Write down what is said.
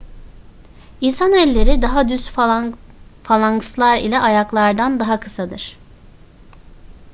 i̇nsan elleri daha düz falankslar ile ayaklardan daha kısadır